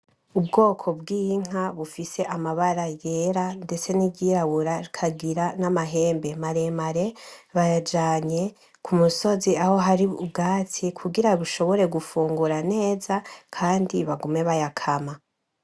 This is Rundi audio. Ubwoko bw'Inka bufise amabara yera ndetse n'iryirabura rikagira n'Amahembe maremare, bayajanye k'Umusozi aho hari ubwatsi kugira bushobore gufungura neza Kandi bagume bayakama.